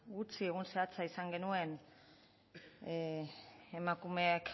gutxi egun zehatza izan genuen emakumeek